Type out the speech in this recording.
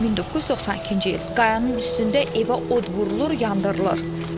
1992-ci il Qayanın üstündə evə od vurulur, yandırılır.